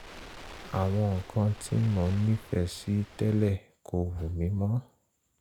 àwọn nǹkan tí mo nífẹ̀ẹ́ sí tẹ́lẹ̀ kò wù mí mọ́